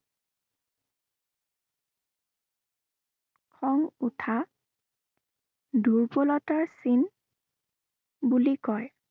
খং উঠা দুৰ্বলতাৰ চিন বুলি কয়।